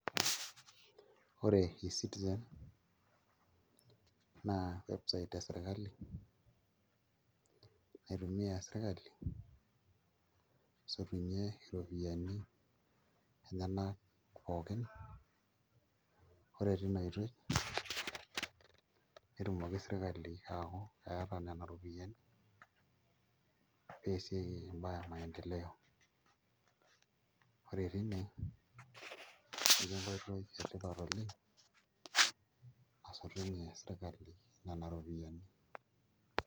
Ore eCitizen naa website e sirkali naitumia sirkali asotunyie iropiyiani enyenak pookin ore tina oitoi netumoki sirkali aaku eeta nena ropiyiani pee eesieki imbaa e maendeleo ore tine neeku enkoitoi etipat oleng' nasotunyie sirkali nena ropiyiani.